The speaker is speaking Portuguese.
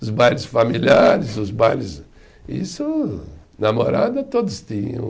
Os bailes familiares, os bailes, isso, namorada, todos tinham.